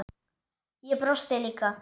Ég brosti líka.